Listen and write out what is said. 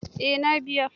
Eh na biya.